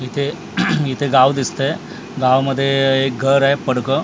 इथे इथे गाव दिसतंय गावामध्ये एक घर आहे पडकं --